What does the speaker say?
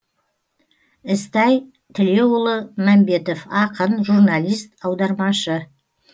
ізтай тілеуұлы мәмбетов ақын журналист аудармашы